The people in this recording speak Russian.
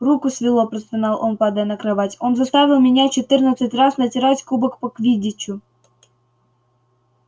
руку свело простонал он падая на кровать он заставил меня четырнадцать раз натирать кубок по квиддичу